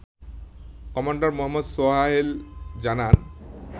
commander Mohammad Sohail জানান